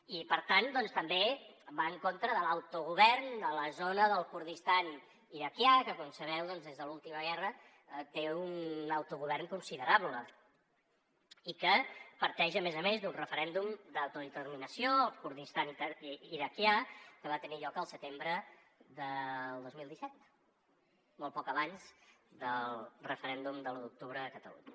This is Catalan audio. i per tant també va en contra de l’autogovern de la zona del kurdistan iraquià que com sabeu doncs des de la última guerra té un autogovern considerable i que parteix a més a més d’un referèndum d’autodeterminació el kurdistan iraquià que va tenir lloc al setembre del dos mil disset molt poc abans del referèndum de l’un d’octubre a catalunya